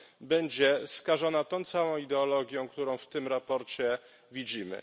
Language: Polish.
będzie skażona tą całą ideologią, którą w tym sprawozdaniu widzimy.